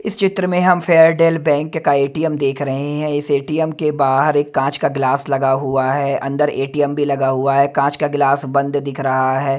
इस चित्र में हम फेयरडेल बैंक का ए_टी_एम देख रहे हैं इस ए_टी_ए_म के बाहर एक कांच का ग्लास लगा हुआ है अंदर ए_टी_एम भी लगा हुआ है कांच का गिलास बंद दिख रहा है।